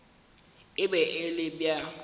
e be e le bja